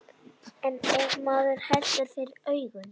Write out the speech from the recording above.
En ef maður heldur fyrir augun.